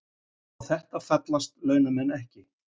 Á þetta fallast launamenn ekki